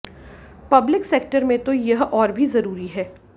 public sector में तो यह और भी जरूरी है